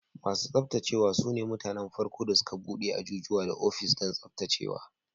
Masu tsaftacewa su ne mutanen farko da suka bude ajujuwa da ofis don tsaftacewa.